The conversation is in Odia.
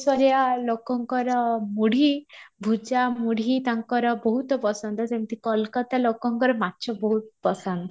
ସରିଆ ଲୋକଙ୍କର ମୁଢି ଭୁଜା ମୁଢି ତାଙ୍କର ବହୁତ ପସନ୍ଦ ଯେମିତି କୋଲକାତା ଲୋକଙ୍କର ମାଛ ବହୁତ ପସନ୍ଦ